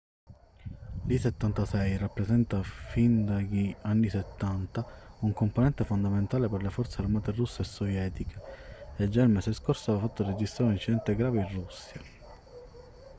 l'il-76 rappresenta fin dagli anni 70 un componente fondamentale per le forze armate russe e sovietiche e già il mese scorso aveva fatto registrare un incidente grave in russia